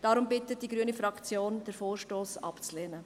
Darum bittet die grüne Fraktion, den Vorstoss abzulehnen.